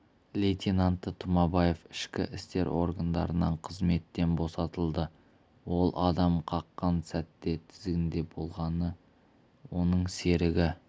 лейтенанты тұмабаев ішкі істер органдарынан қызметтен босатылды ол адам қаққан сәтте тізгінде болған оның серігі